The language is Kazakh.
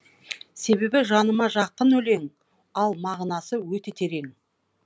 себебі жаныма жақын өлең ал мағынасы өте терең